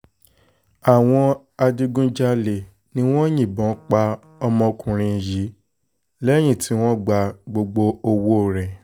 àwọn adigunjalè ni wọ́n yìnbọn pa ọmọkùnrin yìí lẹ́yìn tí wọ́n gba gbogbo owó owó ẹ̀